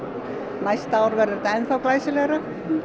næsta ár verður þetta enn þá glæsilegra